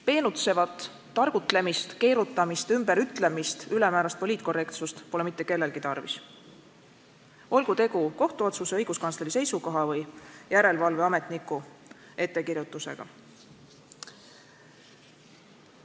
Peenutsevat targutlemist, keerutamist, ümberütlemist, ülemäärast poliitkorrektsust pole mitte kellelgi tarvis, olgu tegu kohtuotsuse, õiguskantsleri seisukoha või järelevalveametniku ettekirjutusega.